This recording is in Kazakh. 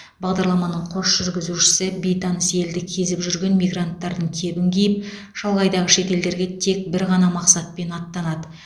бағдарламаның қос жүргізушісі бейтаныс елді кезіп жүрген мигранттардың кебін киіп шалғайдағы шет елдерге тек бір ғана мақсатпен аттанады